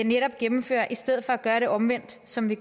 netop gennemfører i stedet for at gøre det omvendt som det